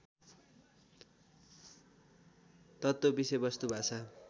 तत्त्व विषयवस्तु भाषा